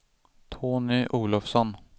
Tony Olofsson